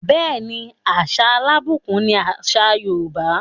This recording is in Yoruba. Bẹẹni, àṣà alábùkún ni àṣà Yorùbá.